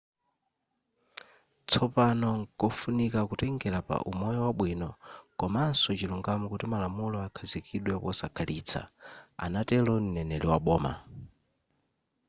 tsopano nkofunika kutengela pa umoyo wabwino komanso chilungamo kuti malamulo akhazikidwe posakhalitsa” anatelo m;neneri wa boma